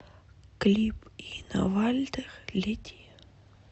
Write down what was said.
клип инна вальтер лети